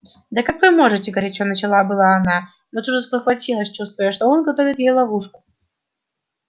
да как вы можете горячо начала было она но тут же спохватилась чувствуя что он готовит ей ловушку